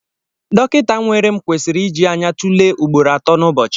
Dọkịta nwere m kwesịrị iji anya tụlee ugboro atọ n'ụbọchị.